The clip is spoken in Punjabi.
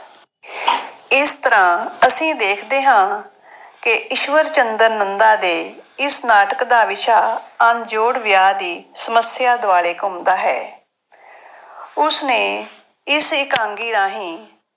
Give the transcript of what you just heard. ਇਸ ਤਰ੍ਹਾਂ ਅਸੀਂ ਦੇਖਦੇ ਹਾਂ, ਕਿ ਈਸ਼ਵਰ ਚੰਦਰ ਨੰਦਾ ਦੇ ਇਸ ਨਾਟਕ ਦਾ ਵਿਸ਼ਾ ਅਣਜੋੜ ਵਿਆਹ ਦੀ ਸਮੱਸਿਆ ਦੁਆਲੇ ਘੁੰਮਦਾ ਹੈ। ਉਸ ਨੇ ਇਸ ਇਕਾਂਗੀ ਰਾਹੀਂ